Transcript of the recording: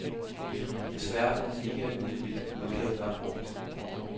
Desværre får man ikke at vide, hvilken udgave, der er brugt.